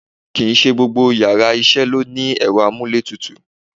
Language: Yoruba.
Ki n se gbọ́gbọ́ íyarà iṣẹ lo ni erọ́ amú íle tútú